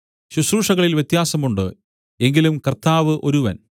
ശുശ്രൂഷകളിൽ വ്യത്യാസം ഉണ്ട് എങ്കിലും കർത്താവ് ഒരുവൻ